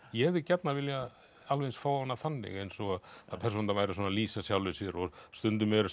ég hefði gjarnan viljað alveg eins fá hana þannig eins og að persónurnar væru svona að lýsa sjálfum sér og stundum eru